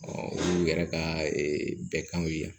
olu yɛrɛ ka bɛ kanw ye yan